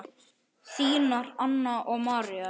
Þínar Anna og María.